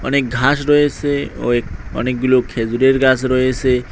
অনেক ঘাস রয়েসে ওয়েক অনেকগুলো খেজুরের গাস রয়েসে।